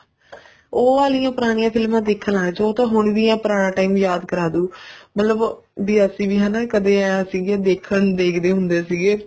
ਉਹ ਵਾਲੀਆਂ ਪੁਰਾਣੀਆਂ ਫ਼ਿਲਮਾ ਦੇਖਣ ਲੱਗ ਜੋ ਉਹ ਤਾਂ ਹੁਣ ਵੀ ਪੁਰਾਣਾ time ਯਾਦ ਕਰਵਾ ਦੁ ਵੀ ਅਸੀਂ ਵੀ ਹਨਾ ਕਦੇ ਵੇਵੇਂ ਸੀਗੇ ਦੇਖਣ ਦੇਖਦੇ ਹੁੰਦੇ ਸੀਗੇ